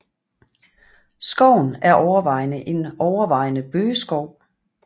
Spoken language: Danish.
Skoven er overvejende en overvejende bøgeskov